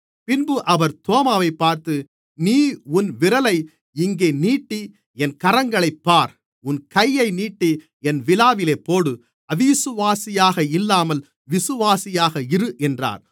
பின்பு அவர் தோமாவைப் பார்த்து நீ உன் விரலை இங்கே நீட்டி என் கரங்களைப் பார் உன் கையை நீட்டி என் விலாவிலே போடு அவிசுவாசியாக இல்லாமல் விசுவாசியாக இரு என்றார்